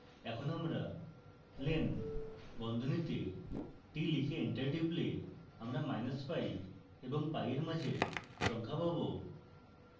এখন আমরা len বন্ধনীতে t লিখে enter টিপলে আমরা minus pi এবং pi এর মাঝের সংখ্যা পাবো